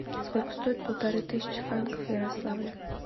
сколько стоит полторы тысячи франков в ярославле